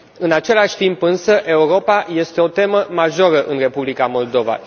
În același timp însă, Europa este o temă majoră în Republica Moldova.